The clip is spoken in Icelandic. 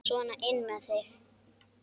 Sona inn með þig!